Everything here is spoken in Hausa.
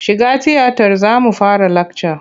Shiga tiyatar za mu fara lakca!